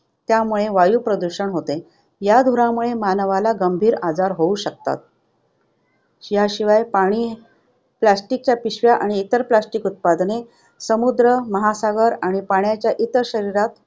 त्यामुळे प्रदूषण होते. या धुरामुळे मानवाला गंभीर आजार होऊ शकतात. याशिवाय पाणी plastic च्या पिशव्या आणि इतर plastic उत्पादने समुद्र, महासागर आणि पाण्याच्या इतर शरीरात